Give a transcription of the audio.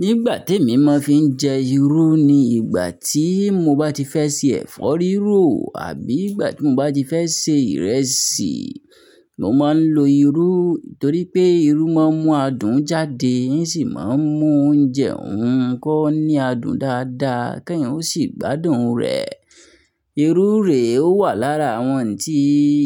Nígbà tí emi máa ń fi ń jẹ irú ni ìgbà tí mo bá ti fẹ́ ṣe ẹ̀fọ́ rírò àbí ìgbà tí mo bá ti fẹ́ ṣe ìrẹsì. Mo máa ń lo irú torí pé irú máa ń mú adùn jáde, sì máa ń mú oúnjẹ òun kó ní adùn dáadáa, kí èèyàn ó sì gbádùn rẹ̀. Irú rè ó wà lára àwọn tí